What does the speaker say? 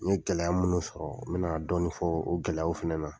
N ye gɛlɛya munun sɔrɔ n be na dɔɔni fɔ o gɛlɛyaw fɛnɛ na.